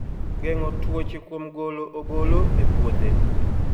Geng'o tuoche kuom golo ogolo e puothe